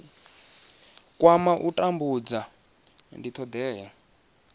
kwama u tambudza ndi thodea